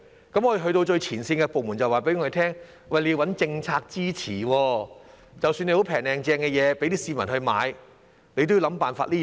當我們去到最前線的部門，我們便獲告知要先找政策支持，即使我們有"平靚正"的貨品供市民購買，我們也要想辦法做到。